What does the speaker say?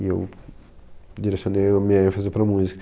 E eu direcionei a minha ênfase para a música.